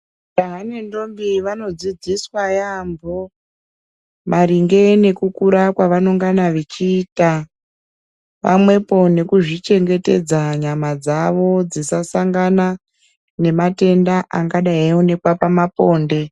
Jaha nendombi vanodzidziswa yaampo maringe nekukura kwavanongana vechiita pamwepi nekuzvichengetedza nyama dzaow dzisasangana nematenda anagadai eionekwa pamaponde.